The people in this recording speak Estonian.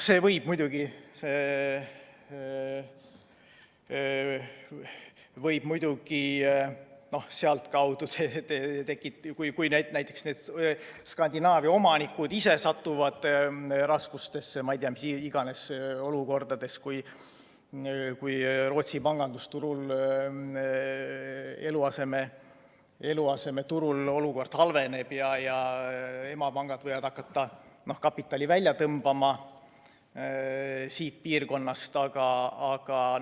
See võib meid muidugi sealtkaudu, kui näiteks need Skandinaavia omanikud ise satuvad raskustesse, näiteks kui Rootsi pangandusturul, eluasemeturul olukord halveneb ja emapangad hakkavad kapitali siit piirkonnast välja tõmbama.